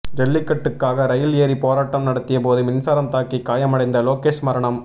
ஜல்லிக்கட்டுக்காக rail ஏறி போராட்டம் நடத்திய போது மின்சாரம் தாக்கி காயமடைந்த லோகேஷ் மரணம்